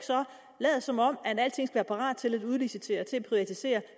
lade som om alting skal være parat til at udlicitere til at privatisere